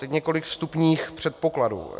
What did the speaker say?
Teď několik vstupních předpokladů.